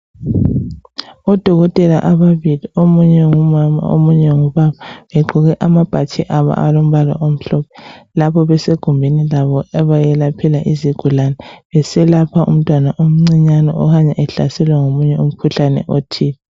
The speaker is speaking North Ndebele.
Udokotela ababili omunye ngumama omunye ngubaba begqoke amabhatshi abo alombala omhlophe lapho basegumeni labo abayelaphela izigulane, beselapha umntwana omncinyane okanye ehlaselwa ngomunye umkhuhlane othile.